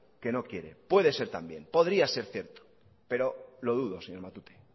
que no quiere puede de ser también podría ser cierto pero lo dudo señor matute